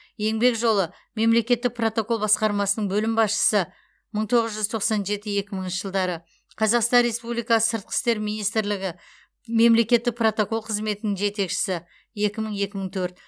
еңбек жолы мемлекеттік протокол басқармасының бөлім басшысы мың тоғыз жүз тоқсан жеті екі мыңыншы жылдары қазақстан республикасы сыртқы істер министрлігі мемлекеттік протокол қызметінің жетекшісі екі мың екі мың төрт